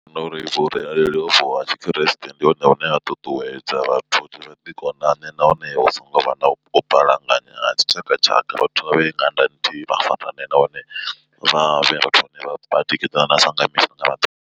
Ndi vhona uri vhurereli hovhu ha tshikriste ndi hone hune ha ṱuṱuwedza vhathu uri vha ḓi konane nahone hu songo vha na u balangana ha dzitshakatshaka vhathu vhavhe ṅanda nthihi vha farane nahone vha vhe vhathu vhane vhatikedzana sa nga misi nanga maḓuvha.